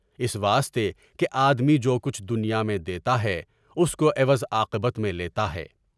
اس واسطے کہ آدمی جو کچھ دنیا میں دیتا ہے اس کو عوض عاقبت میں لیتا ہے۔